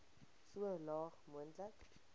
so laag moontlik